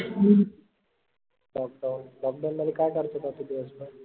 lockdownlockdown मध्ये काय करत होता तू दिसभर?